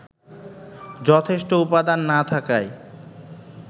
যথেষ্ট উপাদান না থাকায়